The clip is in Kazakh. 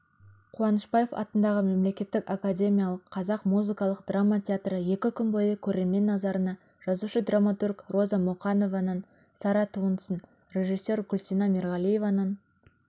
қуанышбаев атындағы мемлекеттік академиялық қазақ музыкалық драма театры екі күн бойы көрермен назарына жазушы-драматург роза мұқанованың сарра туындысын режиссер гүлсина мерғалиеваның